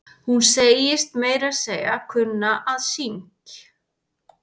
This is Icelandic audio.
Hún segist meira að segja kunna að syngj.